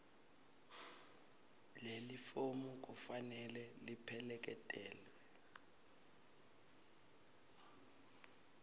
lelifomu kufanele lipheleketelwe